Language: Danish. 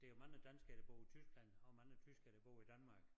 Der jo mange danskere der bor i Tyskland og mange tyskere der bor i Danmark